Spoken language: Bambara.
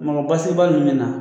Mɔkɔ basigibali nun mɛna